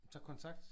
Tager kontakt?